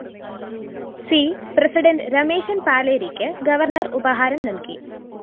C president Rameshan‍ പാലേരിക്ക് governor ഉപഹാരം നല്‍കി